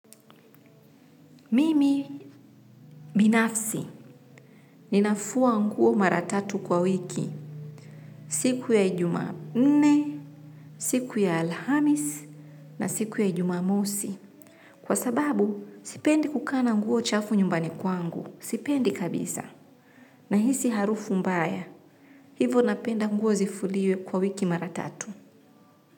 Mimi binafsi, ninafua nguo mara tatu kwa wiki, siku ya jumanne, siku ya alhamisi na siku ya jumamosi, kwa sababu sipendi kukaa na nguo chafu nyumbani kwangu, sipendi kabisa, nahisi harufu mbaya, hivo napenda nguo zifuliwe kwa wiki mara tatu.